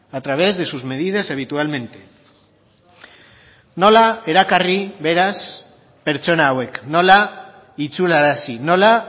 a través de sus medidas habitualmente nola erakarri beraz pertsona hauek nola itzularazi nola